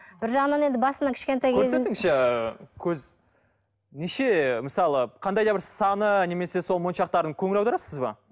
бір жағынан енді басынан көрсетіңізші ы көз неше мысалы қандай да бір саны немесе сол моншақтардың көңіл аударасыз ба